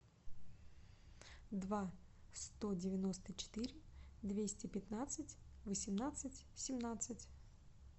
два сто девяносто четыре двести пятнадцать восемнадцать семнадцать